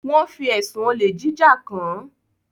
Wón fí ẹsùn Olè jíjà kán.